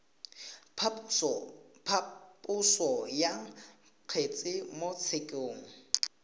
phaposo ya kgetse mo tshekong